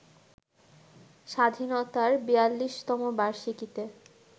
স্বাধীনতার ৪২তম বার্ষিকীতে